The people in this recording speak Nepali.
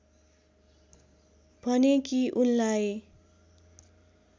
भने कि उनलाई